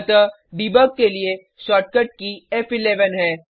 अतः देबुग के लिए शॉर्टकट की फ़11 है